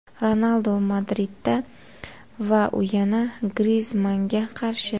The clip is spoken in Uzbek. Ronaldu Madridda va u yana Grizmannga qarshi.